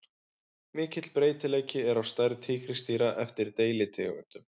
Mikill breytileiki er á stærð tígrisdýra eftir deilitegundum.